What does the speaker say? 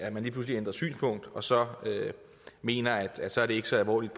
at man lige pludselig ændrer synspunkt og så mener at så er det ikke så alvorligt